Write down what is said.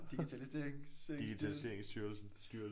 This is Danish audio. digitaliserings øh styrelse